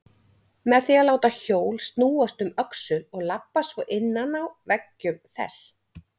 Með því að láta hjól snúast um öxul og labba svo innan á veggjum þess.